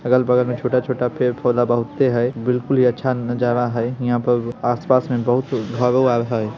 अगल-बगल में छोटा-छोटा पेड पौधा बहुते है बिल्कुल ही अच्छा नजारा है। इहाँ पे आस-पास में बहुत भागो भाग है।